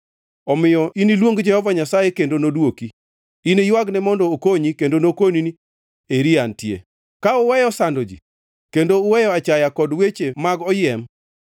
Omiyo iniluong Jehova Nyasaye kendo nodwoki; iniywagne mondo okonyi kendo nokoni ni: Eri antie. “Ka uweyo sando ji kendo uweyo achaya kod weche mag oyiem,